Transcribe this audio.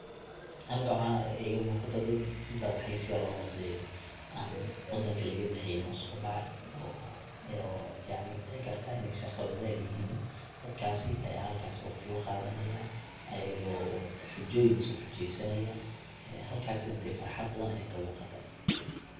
Halkan waxa iga muqata dad dalxis yaro inti an wadanka lagabexeynin usobaxay oo yacni dicikarta iney shaqo wadag yihin, dadkasi aya halkas waqti kuqadanaya ayago xujoyin iskuxujeysanaya ee halkasi dee farxad badan aya kamuqata.